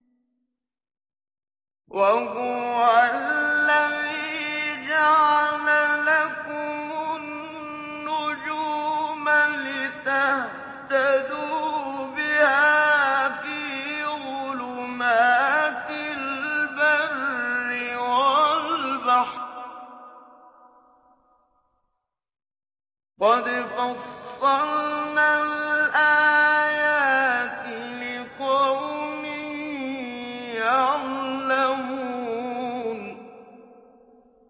وَهُوَ الَّذِي جَعَلَ لَكُمُ النُّجُومَ لِتَهْتَدُوا بِهَا فِي ظُلُمَاتِ الْبَرِّ وَالْبَحْرِ ۗ قَدْ فَصَّلْنَا الْآيَاتِ لِقَوْمٍ يَعْلَمُونَ